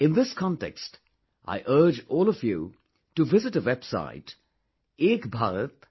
In this context, I urge all of you to visit a website ekbharat